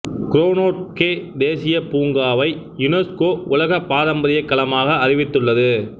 க்ரோனோட்கே தேசியப் பூங்காவை யுனெஸ்கோ உலக பாரம்பரியக் களமாக அறிவித்துள்ளது